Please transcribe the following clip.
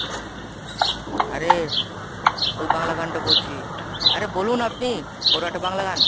আরে, ওই বাংলা গানটা বলছি, আরে বলুন আপনি ওর একটা বাংলা গান।